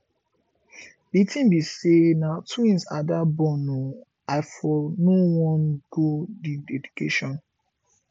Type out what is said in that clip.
the thing be say na twins ada born ooo i for no wan go the dedication